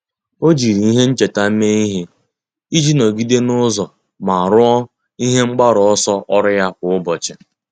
Ọ́ jiri ihe ncheta mee ihe iji nọ́gídé n’ụ́zọ́ ma rúó ihe mgbaru ọsọ ọ́rụ́ ya kwa ụ́bọ̀chị̀.